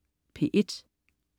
P1: